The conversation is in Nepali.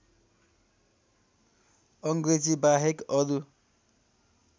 अङ्ग्रेजी बाहेक अरू